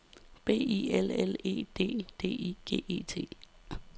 B I L L E D D I G T E